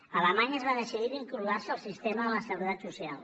a alemanya es va decidir vincular ho al sistema de la seguretat social